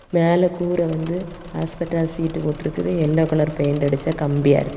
மேல கூறெ வந்து அஸ்பிடாஸ் சீட்டு போட்டிருக்குது யெல்லோ கலர் பெயிண்ட் அடிச்சா கம்பியா இருக்கு.